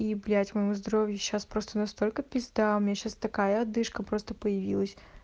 и блять моему здоровью сейчас просто настолько пизда у меня сейчас такая одышка просто появилась